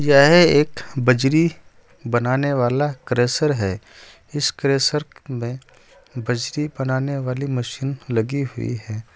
यह एक बजरी बनाने वाला क्रेशर है इस क्रेशर में बजरी बनाने वाली मशीन लगी हुई है।